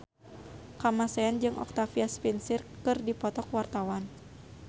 Kamasean jeung Octavia Spencer keur dipoto ku wartawan